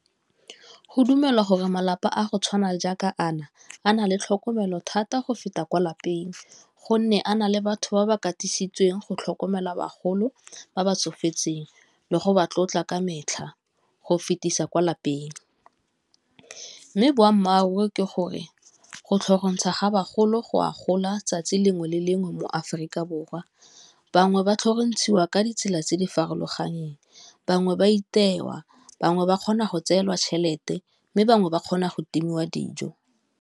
Go dumelwa gore malapa a go tshwana jaaka a na, a na le tlhokomelo thata go feta kwa lapeng gonne a na le batho ba ba katisitsweng go tlhokomela bagolo ba ba tsofetseng, le go ba tlotla ka metlha go fetisa kwa lapeng, mme boammaaruri ke gore go tlhorontsha ga bagolo go a gola 'tsatsi lengwe le lengwe mo-Aforika Borwa, bangwe ba tlhorontshiwa ka ditsela tse di farologaneng, bangwe ba itewa, bangwe ba kgona go tseelwa tšhelete mme bangwe ba kgona go timiwa dijo.